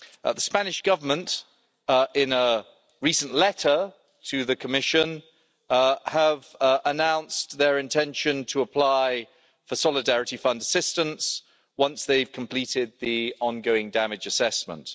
The Spanish Government in a recent letter to the Commission have announced their intention to apply for Solidarity Fund assistance once they've completed the ongoing damage assessment.